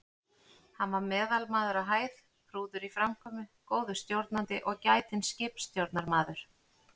Hann var meðalmaður á hæð, prúður í framkomu, góður stjórnandi og gætinn skipstjórnarmaður.